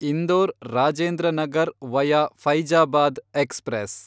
Indore Rajendra Nagar via Faizabad express